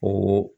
O